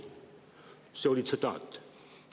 " See oli tsitaat.